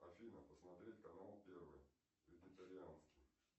афина посмотреть канал первый вегетарианский